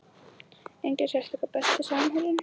Enginn sérstakur Besti samherjinn?